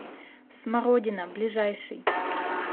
смородина ближайший